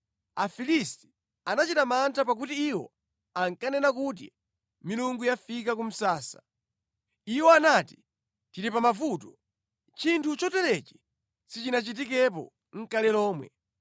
Afilisti anachita mantha pakuti iwo ankanena kuti, “Milungu yafika ku msasa. Iwo anati, ‘Tili pamavuto. Chinthu choterechi sichinachitikepo nʼkale lomwe.